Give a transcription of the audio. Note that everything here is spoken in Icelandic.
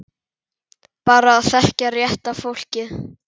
Bara að þekkja rétta fólkið.